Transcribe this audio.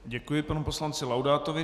Děkuji panu poslanci Laudátovi.